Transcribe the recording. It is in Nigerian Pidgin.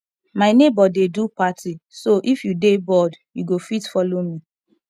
my neighbor dey do party so if you dey bored you go fit follow me